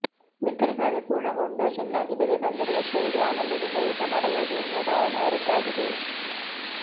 ಬಿತ್ತನೆ ಕಾರ್ಯ ಪೂರ್ಣಗೊಂಡು ಚೆನ್ನಾಗಿ ಬೆಳೆ ಬಂದರೆ ವರ್ಷವಿಡೀ ಆನಂದದಿಂದ ಊಟ ಮಾಡಬಹುದು ಎನ್ನುವ ಭಾವನೆ ಅವರದ್ದಾಗಿದೆ